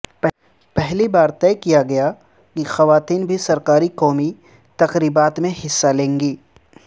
پہلی بار طے کیا گیا کہ خواتین بھی سرکاری قومی تقریبات میں حصہ لیں گی